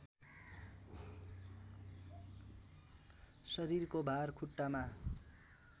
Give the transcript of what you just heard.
शरीरको भार खुट्टामा